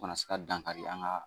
Kana se ka dankari an ka